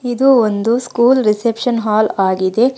ಇದು ಒಂದು school reception hall ಆಗಿದೆ.